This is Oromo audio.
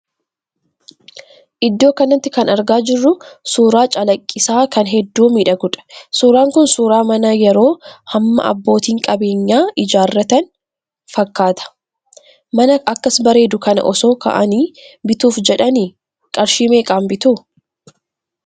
Iddoo kanatti kan argaa jirru suuraa calaqqisaa kan hedduu miidhaguudha. Suuraan kun suuraa mana yeroo hammaa abbootiin qabeenyaa ijaarratan fakkaata. Mana akkas bareedu kana osoo ka'anii bituuf jedhanii qarshii meeqaan bitu?